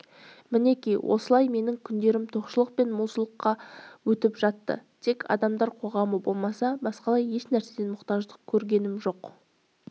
мінеки осылай менің күндерім тоқшылық пен молшылықта өтіп жатты тек адамдар қоғамы болмаса басқалай ешнәрседен мұқтаждық көргенім